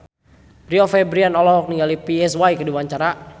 Rio Febrian olohok ningali Psy keur diwawancara